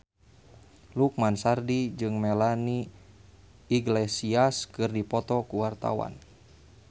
Lukman Sardi jeung Melanie Iglesias keur dipoto ku wartawan